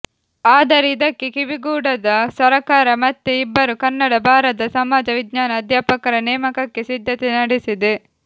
ಆದರೆ ಇದಕ್ಕೆ ಕಿವಿಗೊಡದ ಸರಕಾರ ಮತ್ತೆ ಇಬ್ಬರು ಕನ್ನಡ ಬಾರದ ಸಮಾಜ ವಿಜ್ಞಾನ ಅಧ್ಯಾಪಕರ ನೇಮಕಕ್ಕೆ ಸಿದ್ಧತೆ ನಡೆಸಿದೆ